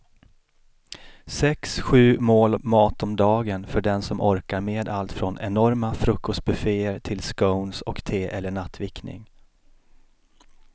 Sex, sju mål mat om dagen för den som orkar med allt från enorma frukostbufféer till scones och te eller nattvickning.